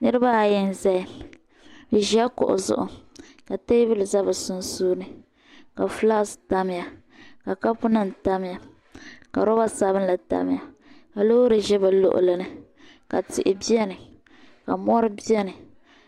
Niribi ayi n zaya bɛ ʒila kuɣu zuɣu, ka teebuli ʒɛ bɛ sunsuuni ka fulaks tamya, ka ka punim tamya ka robre sabinli tamya ka lɔɔri ʒɛ bɛ luɣili ni ka tihi beni ka vari beni